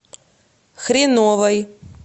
хреновой